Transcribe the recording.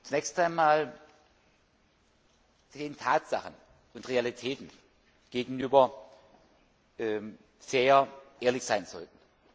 wir zunächst einmal den Tatsachen und Realitäten gegenüber sehr ehrlich sein sollten.